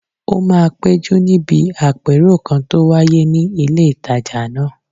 Ó máa péjú níbi àpérò kan tó wáyé ní ilé ìtajà náà